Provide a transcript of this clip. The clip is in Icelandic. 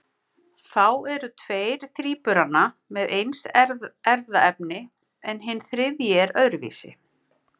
Þá eru tveir þríburana með eins erfðaefni en hinn þriðji er öðruvísi.